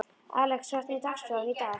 Alex, hvernig er dagskráin í dag?